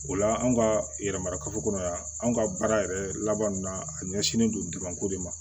O la an ka yɛrɛmara kafo kɔnɔ yan anw ka baara yɛrɛ laban na a ɲɛsinnen don ko de ma